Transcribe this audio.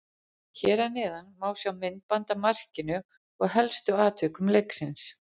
Hér að neðan má sjá myndband af markinu og helstu atvikum leiksins.